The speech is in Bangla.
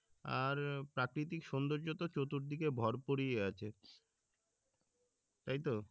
আর প্রাকৃতিক সোন্দর্য তো চতুর দিকে ভরপুরই আছে তাই তো?